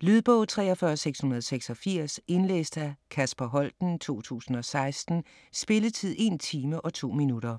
Lydbog 43686 Indlæst af Kasper Holten, 2016. Spilletid: 1 time, 2 minutter.